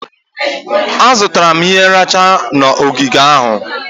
Azụtara m ihe nracha na ogige ahụ.